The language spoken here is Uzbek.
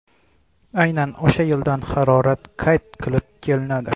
Aynan o‘sha yildan harorat qayd qilib kelinadi.